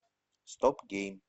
стоп гейм